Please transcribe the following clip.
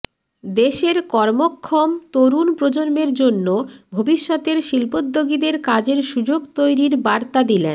দেশের কর্মক্ষম তরুণ প্রজন্মের জন্য ভবিষ্যতের শিল্পোদ্যোগীদের কাজের সুযোগ তৈরির বার্তা দিলেন